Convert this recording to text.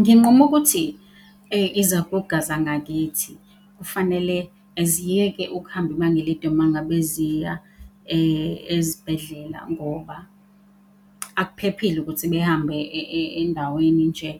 Nginqume ukuthi izaguga zangakithi kufanele ziyeke ukuhamba ibanga elide uma ngabe ziya ezibhedlela ngoba akuphephile ukuthi behambe endaweni nje,